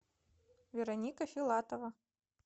вероника филатова